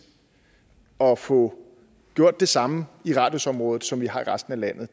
at få gjort det samme i radius område som vi har i resten af landet